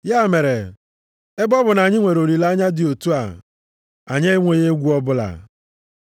Ya mere, ebe ọ bụ na anyị nwere olileanya dị otu a, anyị enweghị egwu ọbụla.